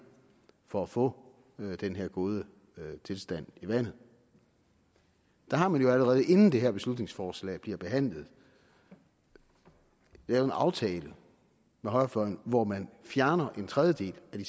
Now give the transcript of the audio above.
for at få den her gode tilstand i vandet har man jo allerede inden det her beslutningsforslag bliver behandlet lavet en aftale med højrefløjen hvor man fjerner en tredjedel af de